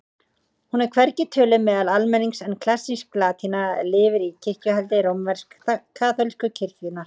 Hún er hvergi töluð meðal almennings en klassísk latína lifir í kirkjuhaldi rómversk-kaþólsku kirkjunnar.